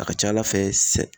A ka ca Ala fɛ sɛ